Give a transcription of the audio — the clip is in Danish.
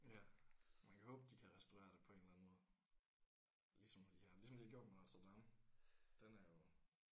Ja man kan håbe de kan restaurere det på en eller anden måde ligesom de har ligesom de har gjort med Notre Dame den er jo